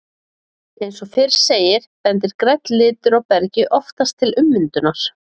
Eins og fyrr segir, bendir grænn litur á bergi oftast til ummyndunar.